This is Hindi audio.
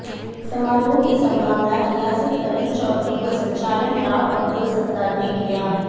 समारोह की संभावना रियासत अली चौधरी व संचालन राव अब्दुल सत्तार ने किया